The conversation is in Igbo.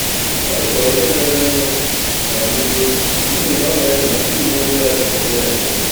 O dekọrọ ihe mere nụ ná nzuzo n’ihi na ọ na-eche na ndị uwe ojii agaghị ede ya nke ọma.